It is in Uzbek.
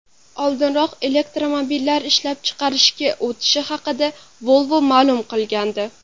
Oldinroq elektromobillar ishlab chiqarishga o‘tishi haqida Volvo ma’lum qilgandi.